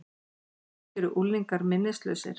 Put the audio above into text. Kannski eru unglingar minnislausir?